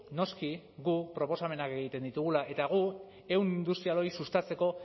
noski guk proposamenak egiten ditugula eta gu ehun industrial hori sustatzeko